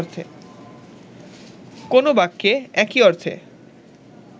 কো্নো বাক্যে একই অর্থে